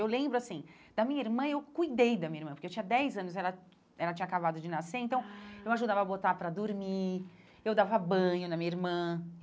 Eu lembro assim, da minha irmã, eu cuidei da minha irmã, porque eu tinha dez anos, ela ela tinha acabado de nascer, então eu ajudava a botar para dormir, eu dava banho na minha irmã.